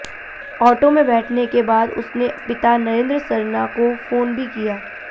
auto में बैठने के बाद उसने पिता नरेंद्र सरणा को फोन भी किया